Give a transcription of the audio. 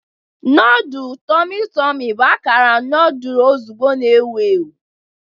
Nodulu tormi tormi bụ akara noodle ozugbo na-ewu ewu.